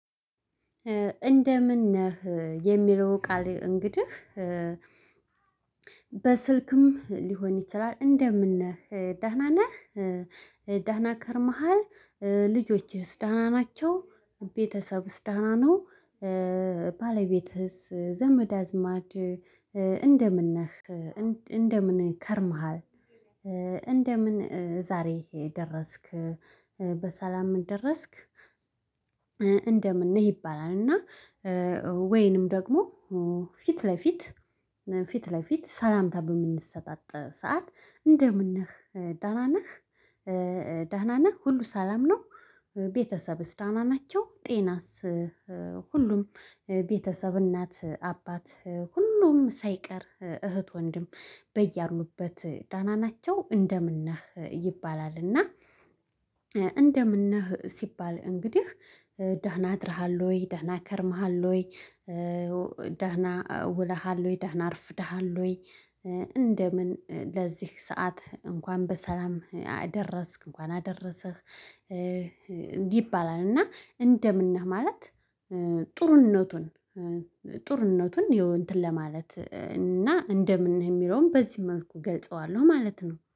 እንደምን ነህ የሚለው ቃል እንግዲህ በስልክም ሊሆን ይችላል። እንደምን ነህ ደህና ነህ? ደህና ከርመሃል? ልጆችህስ ደህና ናቸው? ቤተሰብስ ደና ነው? ባለቤትህስ ዘመድ አዝማድ እንደምን ነህ? እንደምን ከርመሃል? እንደምን ዛሬ ደረስክ? በሰላም ደረስክ? እንደምን ነህ ይባላል። እና ወይንም ደግሞ ፊት ለፊት ፊት ለፊት ሰላምታ በምንሰጣጥ ሰዓት እንደምን ነህ ደና ነህ? ደህና ነህ ሁሉ ሰላም ነው። ቤተሰብስ ደና ናቸው? ጤናስ ሁሉም ቤተሰብ እናት አባት ሁሉም ሳይቀር እህት ወንድም በያሉበት ደና ናቸው። እንደምን ነህ ይባላል። እና እንደምን ነህ ሲባል እንግዲህ ደህና አድረሃል ወይ ደህና ከርመሃል ወይ ደህና ውለሃል ወይ ደህና አርፍደሃል ወይ? እንደምን ለዚህ ሰዓት እንኳን በሰላም አደረስክ እንኳን አደረሰህ። እንዲይባላል እና እንደምን ነህ ማለት ጡርነቱን ጡርነቱን ይሄው እንትን ለማለት እና እንደምን የሚለውን በዚ መልኩ ገልጸዋለሁ ማለት ነው